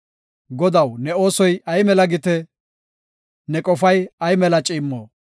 Godaw, ne oosoy ay mela gite! Ne qofay ay mela ciimmo!